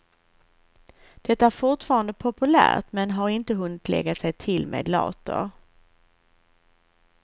Det är fortfarande populärt, men har inte hunnit lägga sig till med later.